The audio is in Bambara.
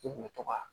I kun bɛ to ka